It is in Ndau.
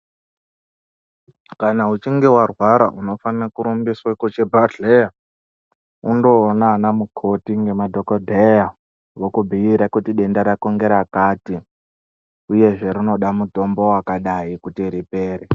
Kana uchinge warwara, unofana kurumbiswe kuchibhadhleya ,undoona anamukoti nemadhokodheya, vokubhuire kuti denda rako ngerakati, uyezve rinoda mutombo wakadai kuti ripere.